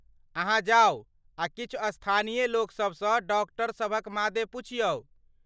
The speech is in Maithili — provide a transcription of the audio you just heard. अहाँ जाउ आ किछु स्थानीय लोकसबसँ डॉक्टर सभक मादे पुछियौ ।